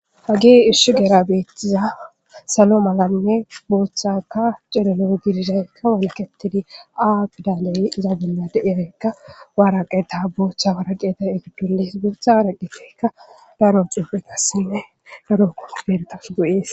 Hagee ishu deerabeettiza salo malanne booththaka cilolo gidishaykka walketidi aaqdaaley zaagila daiyakka waaraqeta booththa waraqeta egiddolees gootha waraqifekka daro xuupheka sine daro koobentas go7ees.